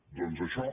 doncs això